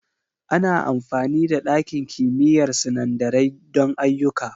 Ana amfani da ɗakin kimiyyar sinandarai don ayyuka.